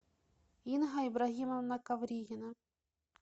инга ибрагимовна ковригина